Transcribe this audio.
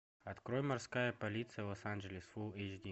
открой морская полиция лос анджелес фул эйч ди